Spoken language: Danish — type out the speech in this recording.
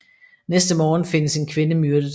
Næste morgen findes en kvinde myrdet